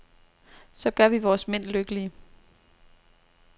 Så gør vi vores mænd lykkelige.